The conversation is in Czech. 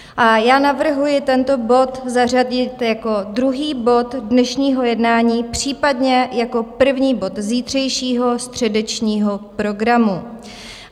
A já navrhuji tento bod zařadit jako druhý bod dnešního jednání, případně jako první bod zítřejšího středečního programu.